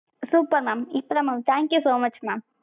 super mam இப்ப தான் mam thank you so much mam.